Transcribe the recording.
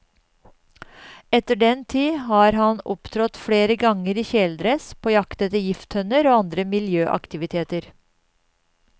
Etter den tid har han opptrådt flere ganger i kjeledress på jakt etter gifttønner og andre miljøaktiviteter.